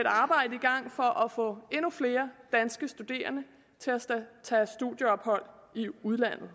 et arbejde i gang for at få endnu flere danske studerende til at tage et studieophold i udlandet